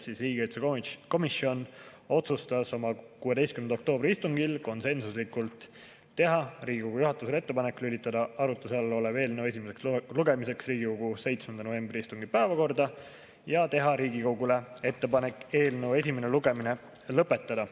Riigikaitsekomisjon otsustas oma 16. oktoobri istungil konsensuslikult teha Riigikogu juhatusele ettepaneku lülitada arutluse all olev eelnõu esimeseks lugemiseks Riigikogu 7. novembri istungi päevakorda ja teha Riigikogule ettepanek eelnõu esimene lugemine lõpetada.